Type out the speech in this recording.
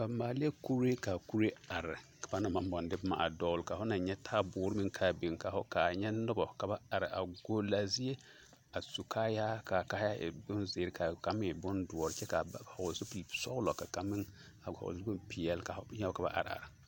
Ba maalɛɛ kuree ka a kuree are ka na maŋ baŋ de boma a dɔɡelea ka fo na nyɛ taaboore meŋ ka a biŋ ka fo kaa nyɛ noba ka ba are ɡole a zie a su kaayaa ka a kaayaa e bonziiri ka a kaŋ meŋ e bondoɔre ka ba ha hɔɔle zupilisɔɔlɔ ka kaŋ meŋ hɔɔle zuplipeɛle ka fo nyɛ ba ka ba areare.